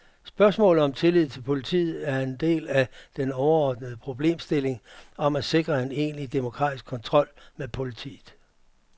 Spørgsmålet om tilliden til politiet er en del af den overordnede problemstilling om at sikre en egentlig demokratisk kontrol med politiet.